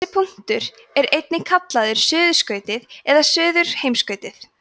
þessi punktur er einnig kallaður suðurskautið eða suðurheimskautið